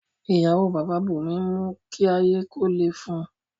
Iyawo Baba Bunmi n mu ki aye ko le fun u